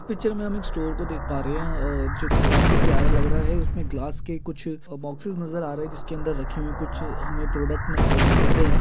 इस पिक्चर में हम एक स्टोर को देख पा रहे है और जो की काफी प्यारा लग रहा है उसमें गिलास के कुछ बॉक्सेस नज़र आ रहे हैं जिसके अंदर रखे हुए कुछ होंगे प्रोडक्ट दिख रहे हैं।